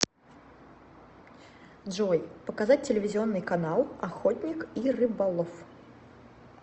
джой показать телевизионный канал охотник и рыболов